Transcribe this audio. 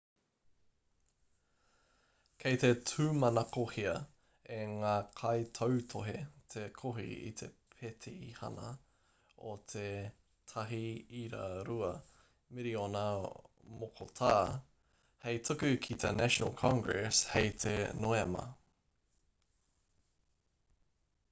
kei te tūmanakohia e ngā kaitautohe te kohi i te pētihana o te 1.2 miriona mokotā hei tuku ki te national congress hei te noema